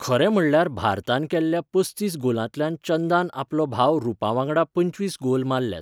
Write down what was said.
खरें म्हणल्यार भारतान केल्ल्या पसतीस गॉलांतल्यान चंदान आपलो भाव रूपा वांगडा पंचवीस गोल मारल्यात.